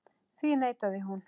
Því neitaði hún.